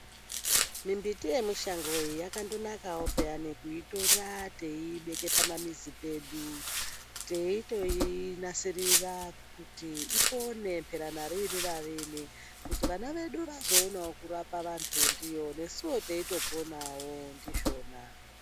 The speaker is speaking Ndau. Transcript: Mumbiti yemushango iyi yakandonakawo paanekuitora teiyibike pamamizi pedu, teitoinasirira kuti ipone pera nariini nariini kuti vana vadu vazoonawo kurapa vantu nesuwo teitoponawo ndizvona.